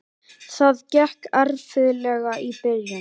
Það gekk erfiðlega í byrjun.